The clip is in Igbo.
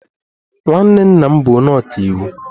Nwanne nna m bụ onye ọka iwu.